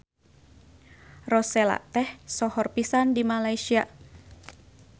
Rosella teh sohor pisan di Malaysia.